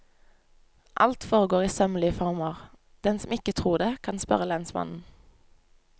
Alt foregår i sømmelig former, den som ikke tror det, kan spørre lensmannen.